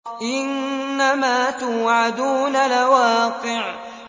إِنَّمَا تُوعَدُونَ لَوَاقِعٌ